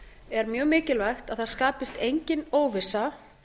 er mjög mikilvægt að það skapist engin óvissa